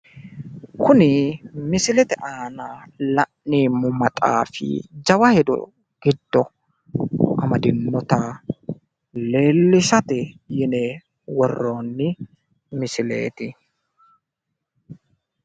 kuni misilete aana la'neemmo maxaafi jawa hedo giddo amadinnota leellishate yine worronni misileeti.